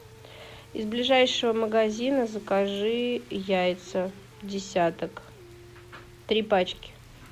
из ближайшего магазина закажи яйца десяток три пачки